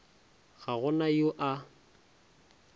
ga go na yo a